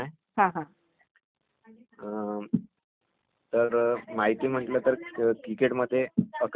अं....तर माहिती म्हटलं तर क्रिकेटमध्ये अकरा खेळाडू असतात.